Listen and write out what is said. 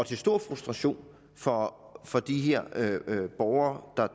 til stor frustration for for de borgere